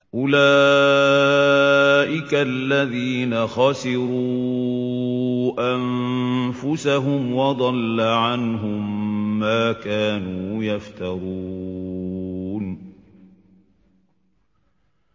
أُولَٰئِكَ الَّذِينَ خَسِرُوا أَنفُسَهُمْ وَضَلَّ عَنْهُم مَّا كَانُوا يَفْتَرُونَ